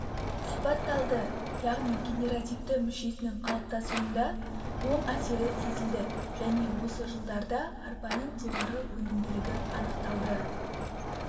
сипатталды яғни генеративті мүшесінің қалыптасуында оң әсері сезілді және осы жылдарда арпаның жоғары өнімділігі анықталды